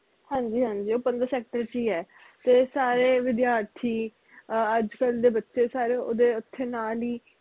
ਹਾਂਜੀ ਹਾਂਜੀ ਉਹ ਪੰਦਰਾਂ sector ਚ ਈ ਐ ਤੇ ਸਾਰੇ ਵਿਦਿਆਰਥੀ ਆਹ ਅੱਜ ਕਲ ਦੇ ਬਚੇ ਸਾਰੇ ਓਹਦੇ ਓਥੈ ਨਾਲ ਈ